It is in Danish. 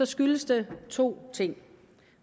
skyldes det to ting